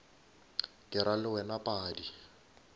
ke ra le wena padi